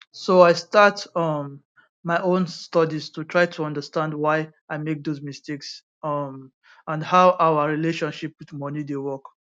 so i start um my own studies to try to understand why i make those mistakes um and how our relationship wit moni dey work